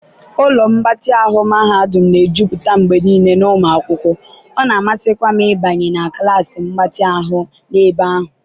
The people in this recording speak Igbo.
ụlọ mgbatị mahadum na-ejupụta mgbe niile na ụmụ akwụkwọ, ọ na-amasịkwa m ịbanye na klas mgbatị ahụ n'ebe ahụ.